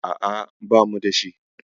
A'a, banu da shi.